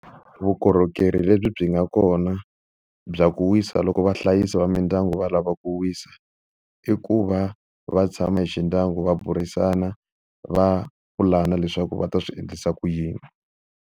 Vukorhokeri lebyi byi nga kona bya ku wisa loko vahlayisi va mindyangu va lava ku wisa, i ku va va tshama hi xi ndyangu va burisana, va pulana leswaku va ta swi endlisa ku yini.